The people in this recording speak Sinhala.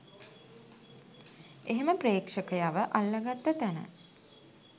එහෙම ප්‍රේක්ෂකයව අල්ල ගත්ත තැන